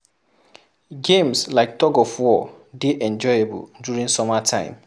Games like tug of war dey enjoyable during summer time